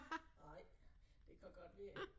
Nej det kan godt være